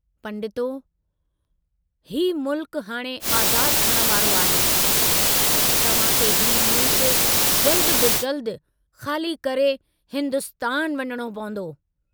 पंडितों, हीउ मुल्क हाणे आज़ाद थियण वारो आहे, तव्हां खे हीउ मुल्क जल्दु बि जल्दु ख़ाली करे हिन्दुस्तान वञणो पवन्दो।